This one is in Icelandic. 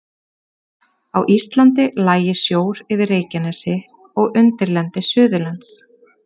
Á Íslandi lægi sjór yfir Reykjanesi og undirlendi Suðurlands.